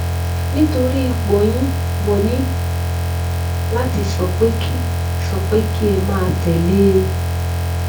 nítorí ipò yín mo ní láti sọ pé kí sọ pé kí ẹ máa tè lé e